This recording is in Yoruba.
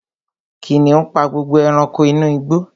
Kìnìún pa gbogbo ẹranko inú igbó